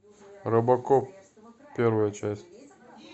робокоп первая часть